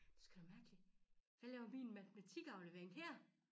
Sgu da mærkelig hvad laver min matematikaflevering her